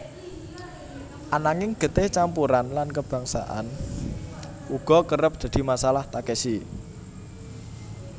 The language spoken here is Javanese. Ananging getih campuran lan kebangsaan uga kerep dadi masalah Takeshi